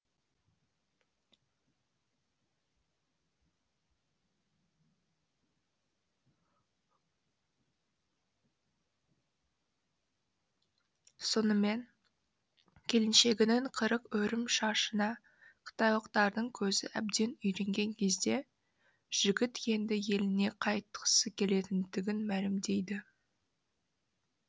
сонымен келіншегінің қырық өрім шашына қытайлықтардың көзі әбден үйренген кезде жігіт енді еліне қайтқысы келетіндігін мәлімдейді